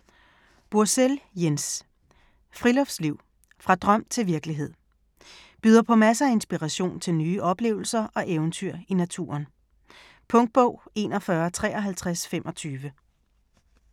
Bursell, Jens: Friluftsliv - fra drøm til virkelighed Byder på masser af inspiration til nye oplevelser og eventyr i naturen. Punktbog 415325 2015. 14 bind.